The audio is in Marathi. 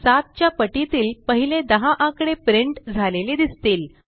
7 च्या पटीतील पहिले 10 आकडे प्रिंट झालेले दिसतील